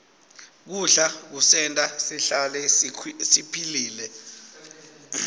kudla kusenta sihlale siphilile